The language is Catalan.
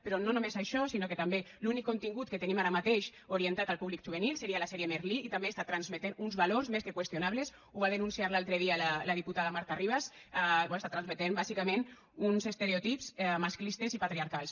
però no només això sinó que també l’únic contingut que tenim ara mateix orientat al públic juvenil seria la sèrie merlí i també està transmetent uns valors més que qüestionables ho va denunciar l’altre dia la diputada marta ribas bé està transmetent bàsicament uns estereotips masclistes i patriarcals